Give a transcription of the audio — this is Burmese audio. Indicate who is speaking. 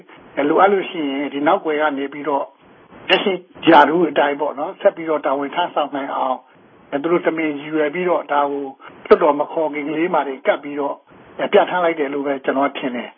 Speaker 1: လိုအပ်လို့ရှိရင် ဒီ နောက်ကွယ်က နေပြီးတော့ လက်ရှိ ရာထူးအတိုင်းပေါ့နော်၊ ဆက်ပြီးတော့ တာဝန် ထမ်းဆောင်နိုင်အောင် သူတို့ တမင် ရည်ရွယ်ပြီးတော့ ဒါကို လွှတ်တော် မခေါ်ခင်ကလေးမှာတင် ကပ်ပြီးတော့ ပြဋ္ဌာန်းလိုက်တယ်လို့ပဲ ကျွန်တော်က ထင်တယ်